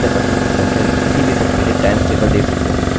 तो यह foreach loop है मैं रवि कुमार आईआईटीबॉम्बे की ओर से आपसे विदा लेता हूँ